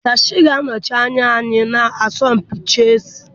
Dash ga-anọchi anya anyị na asọmpi chessị